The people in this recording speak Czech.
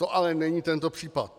To ale není tento případ.